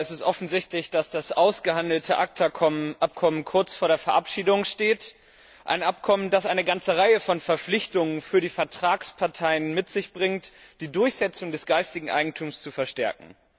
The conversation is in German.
Es ist offensichtlich, dass das ausgehandelte ACTA Abkommen kurz vor der Verabschiedung steht ein Abkommen, das eine ganze Reihe von Verpflichtungen für die Vertragsparteien mit sich bringt, um die Durchsetzung des geistigen Eigentums zu verstärken.